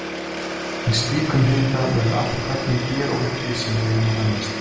Í slíkum hita verður allt efni gerólíkt því sem við eigum að venjast.